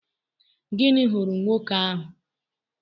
Gịnị ghuru nwoke ahụ?